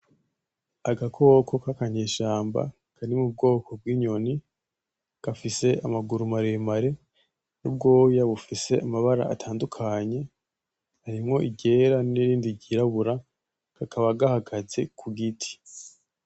Agakoko kakanyeshamba kari mu bwoko bw'inyoni gafise amaguru maremare n'ubwoya bufise amabara atandukanye harimwo iryera nirindi ry'irabura kakaba gahagaze kugiti.